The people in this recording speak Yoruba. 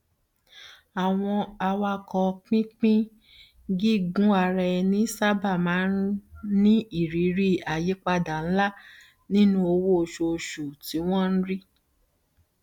àwọn awakọ pínpín gígunaraẹni sábà máa ní irírí àyípadà ńlá nínú owó oṣooṣù tí wọn ń rí